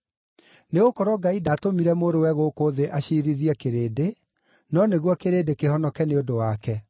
Nĩgũkorwo Ngai ndaatũmire Mũrũwe gũkũ thĩ aciirithie kĩrĩndĩ, no nĩguo kĩrĩndĩ kĩhonoke nĩ ũndũ wake.